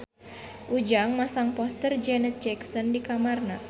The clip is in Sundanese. Ujang masang poster Janet Jackson di kamarna